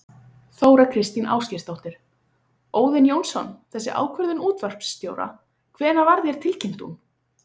Þóra Kristín Ásgeirsdóttir: Óðinn Jónsson, þessi ákvörðun útvarpsstjóra, hvenær var þér tilkynnt hún?